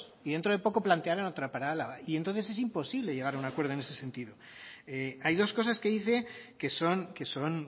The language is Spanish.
y dentro de poco plantearan otra para álava y entonces es imposible llegar a un acuerdo en ese sentido hay dos cosas que dice que son que son